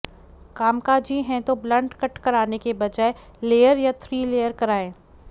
कामकाजी हैं तो ब्लंट कट कराने के बजाय लेयर या थ्री लेयर कराएं